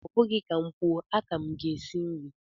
Ọ bụghị ka m kwuo, aka m gị esi nri